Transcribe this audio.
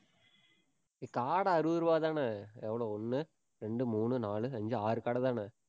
ஏ காடை அறுபது ரூபாய்தானே, எவ்வளவு ஒண்ணு, ரெண்டு, மூணு, நாலு, அஞ்சு, ஆறு காடைதானே?